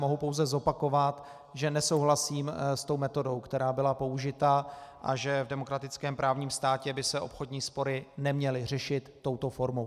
Mohu pouze zopakovat, že nesouhlasím s tou metodou, která byla použita, a že v demokratickém právním státě by se obchodní spory neměly řešit touto formou.